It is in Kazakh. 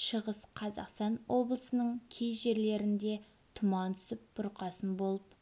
шығыс қазақстан облысының кей жерлерінде тұман түсіп бұрқасын болып